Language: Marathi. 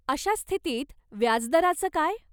अशा स्थितीत व्याजदराचं काय?